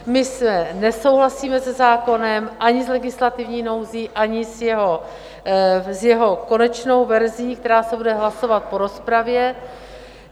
My nesouhlasíme se zákonem, ani s legislativní nouzí, ani s jeho konečnou verzí, která se bude hlasovat po rozpravě.